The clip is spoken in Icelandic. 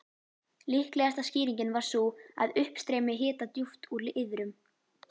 Líklegasta skýringin var sú, að uppstreymi hita djúpt úr iðrum